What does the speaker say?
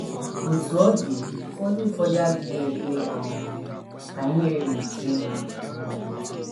Otú ọ dị, ụfọdụ ụfọdụ adịghị ekwe um ka ihere gbochie ha um.